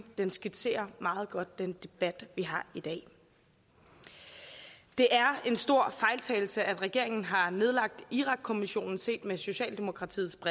den skitserer meget godt den debat vi har i dag det er en stor fejltagelse at regeringen har nedlagt irakkommissionen set med socialdemokratiets